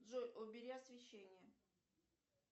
джой убери освещение